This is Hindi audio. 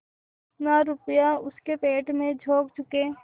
जितना रुपया इसके पेट में झोंक चुके